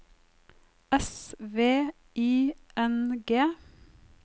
S V I N G